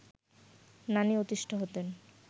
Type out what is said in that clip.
নানি অতিষ্ঠ হতেন